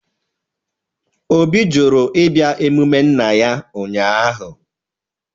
Obi jụrụ ịbịa emume nna ya ụnyahụ.